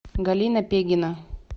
галина пегина